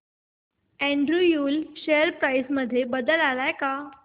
Andrew Yule share price मध्ये बदल आलाय का